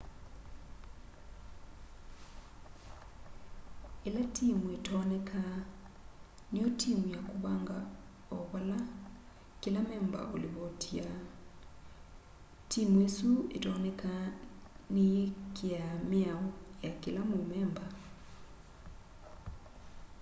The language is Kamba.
ila timu itonekaa niyo timu ya kuvanga o vala kila memba ulivotiaa timu isu otonekaa niyikiaa miao ya kila mumemba